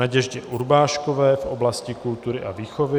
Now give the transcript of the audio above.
Naděždě Urbáškové v oblasti kultury a výchovy